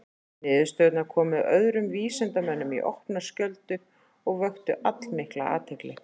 Niðurstöðurnar komu öðrum vísindamönnum í opna skjöldu og vöktu allmikla athygli.